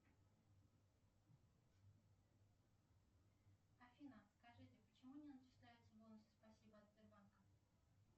афина скажите почему не начисляются бонусы спасибо от сбербанка